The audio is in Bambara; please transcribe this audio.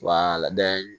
Wa lada